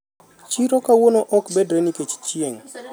siro kawuono ok bedre nikech chieng'